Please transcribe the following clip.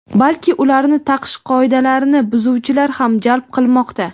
balki ularni taqish qoidalarini buzuvchilar ham jalb qilmoqda.